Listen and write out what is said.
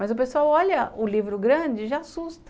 Mas o pessoal olha o livro grande e já assusta.